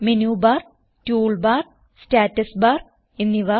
menu bar toolbar status bar എന്നിവ